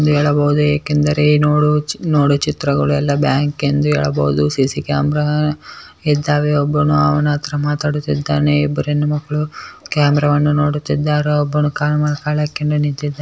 ಎಂದ್ ಹೇಳಬಹುದು ಏಕೆಂದರೆ ನೋಡು ಚಿ ನೋಡು ಚಿತ್ರಗಳು ಎಲ್ಲ ಬ್ಯಾಂಕ ಎಂದು ಹೇಳಬಹುದು ಸಿ.ಸಿ ಕ್ಯಾಮ್ರಾ ಇದ್ದಾವೆ ಒಬ್ಬನು ಅವ್ನ್ ಹತ್ರ ಮಾತಾಡುತ್ತಿದ್ದಾನೆ ಇಬ್ರ್ ಹೆಣ್ಮಕ್ಳು ಕ್ಯಾಮ್ರಾ ವನ್ನು ನೋಡುತ್ತಿದ್ದಾರು ಒಬ್ಬನು ಕಾಲ್ ಮೇಲೆ ಕಾಲ್ ಹಾಕ್ಕೊಂಡು ನಿಂತಿದ್ --